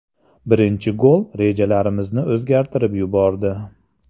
Birinchi gol rejalarimizni o‘zgartirib yubordi.